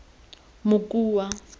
mokua